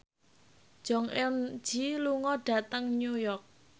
Jong Eun Ji lunga dhateng New York